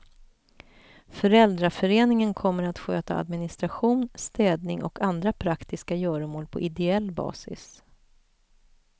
Föräldraföreningen kommer att sköta administration, städning och andra praktiska göromål på ideell basis.